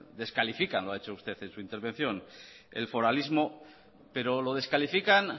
descalifican el foralismo lo ha hecho usted en su intervención pero lo descalifican